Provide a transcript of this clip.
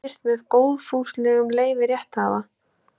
Myndin er birt með góðfúslegu leyfi rétthafa.